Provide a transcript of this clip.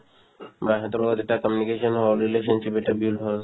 বা সেহেতৰ লগত এটা communication হ'ল relationship এটা built হ'ল